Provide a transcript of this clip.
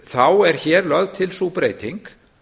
þá er hér lögð til sú breyting